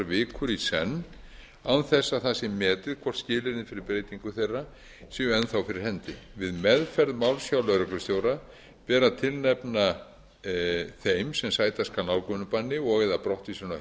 vikur í senn án þess að það sé metið hvort skilyrðin fyrir beitingu þeirra séu enn þá fyrir hendi við meðferð máls hjá lögreglustjóra ber að tilnefna þeim sem sæta skal nálgunarbanni og eða